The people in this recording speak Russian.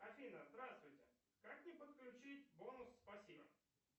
афина здравствуйте как мне подключить бонусы спасибо